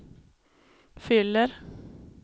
fyller